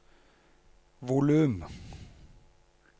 volum